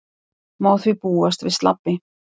Má því búast við slabbi